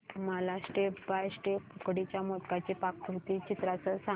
मला step by step उकडीच्या मोदकांची पाककृती चित्रांसह सांग